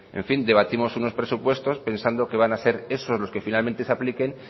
en fin debatimos unos presupuestos pensando que van a ser esos los que finalmente se apliquen